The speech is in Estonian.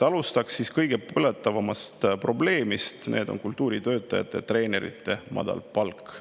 Alustan kõige põletavamast probleemist: kultuuritöötajate ja treenerite madal palk.